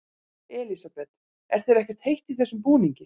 Elísabet: Er þér ekkert heitt í þessum búningi?